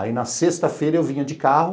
Aí na sexta-feira eu vinha de carro,